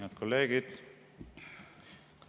Head kolleegid!